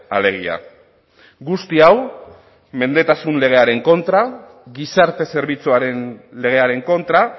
alegia guzti hau mendetasun legearen kontra gizarte zerbitzuaren legearen kontra